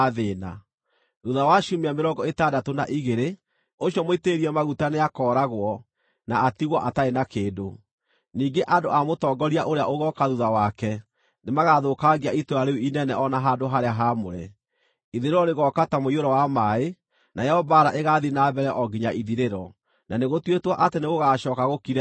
Thuutha wa ciumia mĩrongo ĩtandatũ na igĩrĩ, ũcio Mũitĩrĩrie Maguta nĩakooragwo na atigwo atarĩ na kĩndũ. Ningĩ andũ a mũtongoria ũrĩa ũgooka thuutha wake nĩmagathũkangia itũũra rĩu inene o na handũ-harĩa-haamũre. Ithirĩro rĩgooka ta mũiyũro wa maaĩ: Nayo mbaara ĩgaathiĩ na mbere o nginya ithirĩro, na nĩgũtuĩtwo atĩ nĩgũgacooka gũkire ihooru.